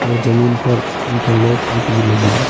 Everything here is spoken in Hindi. और जमीन पर इंटरलॉक ईट भी लगी है।